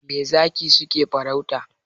Me zaki suke farauta?